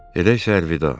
Edək Sarvida.